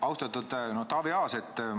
Austatud Taavi Aas!